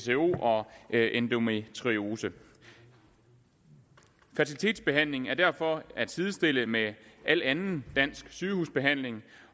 og endometriose fertilitetsbehandling er derfor at sidestille med al anden dansk sygehusbehandling